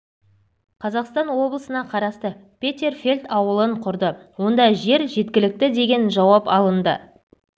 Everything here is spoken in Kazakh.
қазақстан облысына қарасты петерфельд ауылын құрды онда жер жеткілікті деген жауап алынды